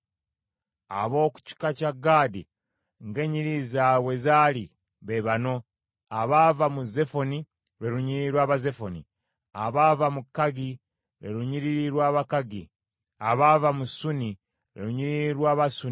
Ab’omu kika kya Gaadi ng’ennyiriri zaabwe bwe zaali, be bano: abaava mu Zefoni, lwe lunyiriri lw’Abazefoni; abaava mu Kagi, lwe lunyiriri lw’Abakagi; abaava mu Suni, lwe lunyiriri lw’Abasuni;